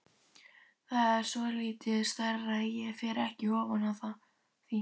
Það er svolítið stærra, ég fer ekki ofan af því!